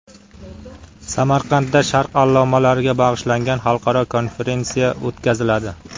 Samarqandda sharq allomalariga bag‘ishlangan xalqaro konferensiya o‘tkaziladi.